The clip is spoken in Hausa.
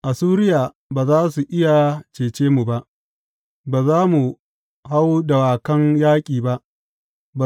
Assuriya ba za su iya cece mu ba; ba za mu hau dawakan yaƙi ba.